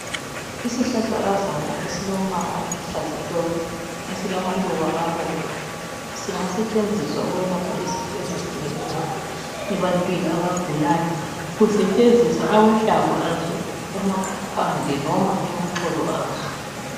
Isihlahlakazana esilombala oluhlaza tshoko, esilamaluba abomvu singasetshenziswa ukwelapha izifo ezitshiyeneyo ebantwini abagulayo. Kusetshenziswa amahlamvu azo, amapande noma amaxolo aso.